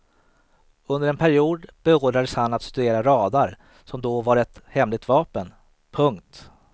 Under en period beordrades han att studera radar som då var ett hemligt vapen. punkt